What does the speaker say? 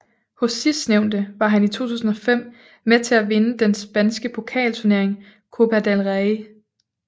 Hos sidstnævnte var han i 2005 med til at vinde den spanske pokalturnering Copa del Rey